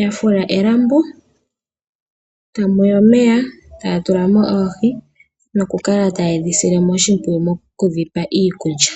ya fula elambo etamu yi omeya noohi noku kala taye dhi sile oshimpwiyu okudhi pela mo iikulya.